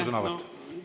Aitäh!